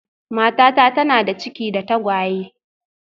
Matata tana da ciki da tagwaye